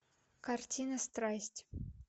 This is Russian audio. картина страсть